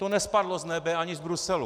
To nespadlo z nebe ani z Bruselu.